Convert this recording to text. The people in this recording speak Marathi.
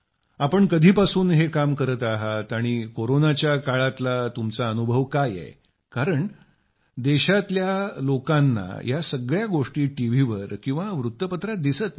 आपण कधीपासून हे काम करत आहात आणि कोरोनाच्या काळातील तुमचा अनुभव काय आहे कारण देशातील लोकांना या सगळ्या गोष्टी टीव्हीवर किंवा वृत्तपत्रात दिसत नाही